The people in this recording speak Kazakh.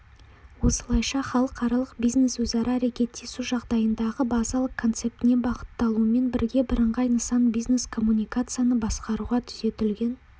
осылайша халықаралық бизнес-өзара әрекеттесу жағдайындағы базалық концептіне бағытталумен бірге бірыңғай нысан бизнескоммуникацияны басқаруға түзетілген